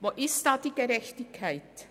Wo ist da die Gerechtigkeit?